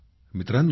मित्रांनो